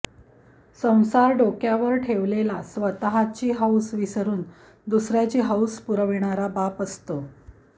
संसार डोक्यावर ठेवलेला स्वतः ची हौस विसरून दुसऱ्याची हौस पुरविणारा बाप असतो